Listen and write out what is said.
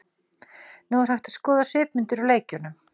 Nú er hægt að skoða svipmyndir úr leikjunum.